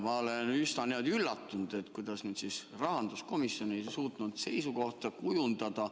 Ma olen üsna üllatunud, et kuidas nüüd siis rahanduskomisjon ei suutnud seisukohta kujundada.